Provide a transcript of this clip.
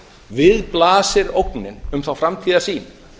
við blasir ógnin um þá framtíðarsýn